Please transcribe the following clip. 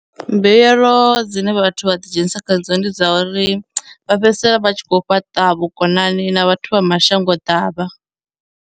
Mbuyelo dzine vhathu vha ḓi dzhenisa khadzo ndi dza uri vha fhedzisela vha tshi khou fhaṱa vhukonani na vhathu vha mashango ḓavha.